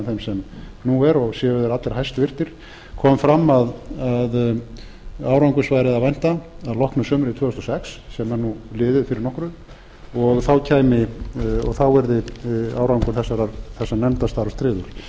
þeim sem nú er og séu þeir allir hæstvirtir kom fram að árangurs væri að vænta að loknu sumri tvö þúsund og sex sem er liðið fyrir nokkru og þá yrði árangur þessa nefndarstarfs tryggður